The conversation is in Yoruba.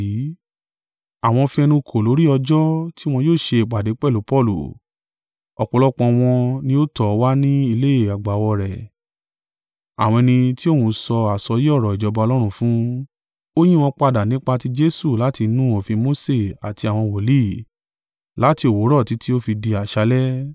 Àwọn fi ẹnu kò lórí ọjọ́ tí wọn yóò ṣe ìpàdé pẹ̀lú Paulu, ọ̀pọ̀lọpọ̀ wọn ni ó tọ̀ ọ́ wa ni ilé àgbàwọ̀ rẹ̀; àwọn ẹni tí òun sọ àsọyé ọ̀rọ̀ ìjọba Ọlọ́run fún, ó ń yí wọn padà nípa ti Jesu láti inú òfin Mose àti àwọn wòlíì, láti òwúrọ̀ títí ó fi di àṣálẹ́.